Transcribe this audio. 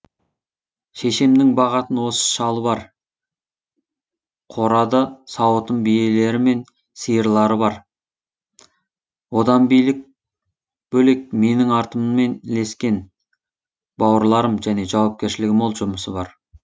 шешемнің бағатын осы шалы бар қорада сауытын биелері мен сиырлары бар одан бөлек менің артыммен ілескен бауырларым және жауапкершілігі мол жұмысы бар